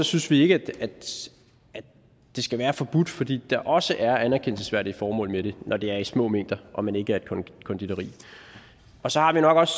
synes vi ikke at det skal være forbudt fordi der også er anerkendelsesværdige formål med det når det er i små mængder og man ikke er et konditori og så har vi nok også